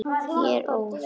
Ég er óð.